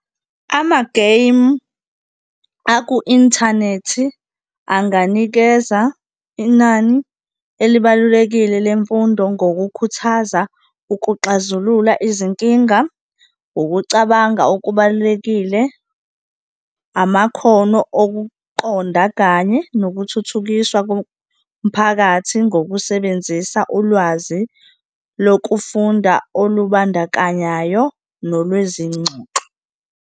Amageyimu aku-inthanethi anganikeza inani elibalulekile lemfundo ngokukhuthaza ukuxazulula izinkinga, ukucabanga okubalulekile, amakhono okuqonda kanye nokuthuthukiswa komphakathi, ngokusebenzisa ulwazi lokufunda olubandakanyayo nolwezingxoxo.